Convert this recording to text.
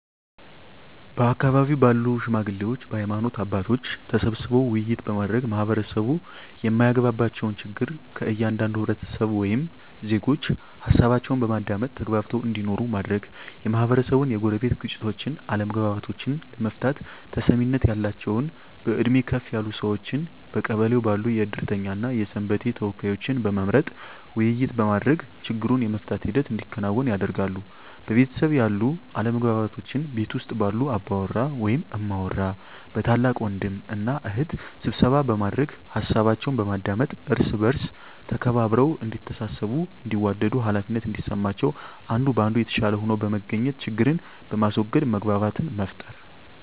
በአካባቢው ባሉ ሽማግሌዎች በሀይማኖት አባቶች ተሰብስበው ውይይት በማድረግ ማህበረሰቡ የማያግባባቸውን ችግር ከእያንዳንዱ ህብረተሰብ ወይም ዜጎች ሀሳባቸውን በማዳመጥ ተግባብተው እንዲኖሩ ማድረግ, የማህበረሰቡን የጎረቤት ግጭቶችን አለመግባባቶችን ለመፍታት ተሰሚነት ያላቸውን በእድሜ ከፍ ያሉ ሰዎችን በቀበሌው ባሉ የእድርተኛ እና የሰንበቴ ተወካዮችን በመምረጥ ውይይት በማድረግ ችግሩን የመፍታት ሂደት እንዲከናወን ያደርጋሉ። በቤተሰብ ያሉ አለመግባባቶችን ቤት ውስጥ ባሉ አባወራ ወይም እማወራ በታላቅ ወንድም እና እህት ስብሰባ በማድረግ ሀሳባቸውን በማዳመጥ እርስ በእርስ ተከባብረው እዲተሳሰቡ እንዲዋደዱ ሃላፊነት እንዲሰማቸው አንዱ ከአንዱ የተሻለ ሆኖ በመገኘት ችግርን በማስዎገድ መግባባትን መፍጠር።